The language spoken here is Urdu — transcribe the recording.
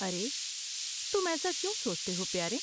ارے، تم ایسا کیوں سوچتے ہو، پیارے؟